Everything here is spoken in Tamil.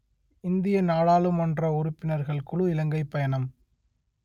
இந்திய நாடாளுமன்ற உறுப்பினர்கள் குழு இலங்கை பயணம்